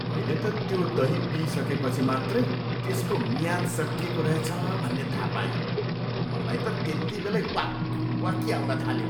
मैले त त्यो दही पिइसकेपछि मात्रै त्यसको मियाद सकिएको रहेछ भन्ने थाहा पाएँ। मलाई त त्यतिबेलै वाकवाकी आउनथाल्यो।